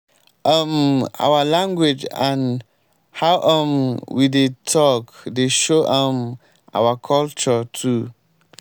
um our language and how um we dey talk dey show um our culture too.